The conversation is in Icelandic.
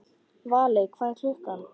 Valey, hvað er klukkan?